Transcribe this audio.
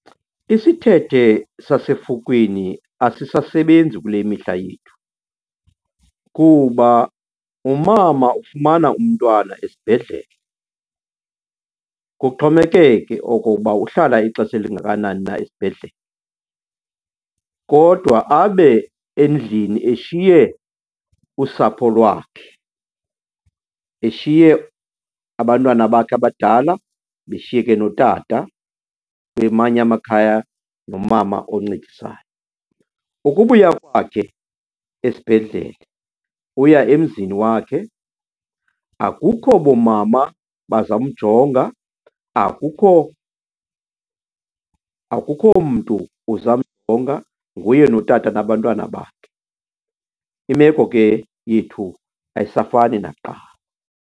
Isithethe sasefukwini asisasebenzisi kule mihla yethu kuba umama ufumana umntwana esibhedlele. Kuxhomekeke okoba uhlala ixesha elingakanani na esibhedlele kodwa abe endlini eshiye usapho lwakhe, eshiye abantwana bakhe abadala beshiyeke notata, kwamanye amakhaya nomama oncedisayo. Ukubuya kwakhe esibhedlele uya emzini wakhe akukho boomama bazamjonga, akukho akukho mntu uzamjonga. Nguye notata nabantwana bakhe. Imeko ke yethu ayisafani nakuqala.